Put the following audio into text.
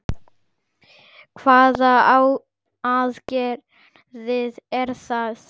Hvaða aðgerðir eru það?